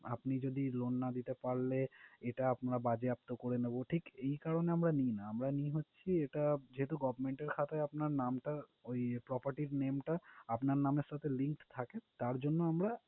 আপনি যদি loan না দিতে পারলে, এটা আমরা বাজেয়াপ্ত করে নেবো, ঠিক এই কারণে আমরা নিই না। আমরা নিই হচ্ছে, এটা যেহেতু government এর খাতায় আপনার নামটা, ঐ property name টা আপনার নামের সাথে link থাকে তাঁর জন্য আমরা